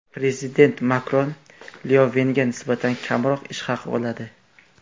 Prezident Makron Lyovenga nisbatan kamroq ish haqi oladi.